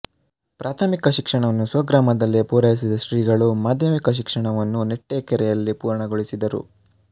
ಪ್ರಾಥಮಿಕ ಶಿಕ್ಷಣವನ್ನು ಸ್ವಗ್ರಾಮದಲ್ಲಿಯೇ ಪೂರೈಸಿದ ಶ್ರೀಗಳು ಮಾಧ್ಯಮಿಕ ಶಿಕ್ಷಣವನ್ನು ನೆಟ್ಟೇಕೆರೆಯಲ್ಲಿ ಪೂರ್ಣಗೊಳಿಸಿದರು